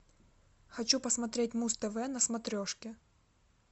хочу посмотреть муз тв на смотрешке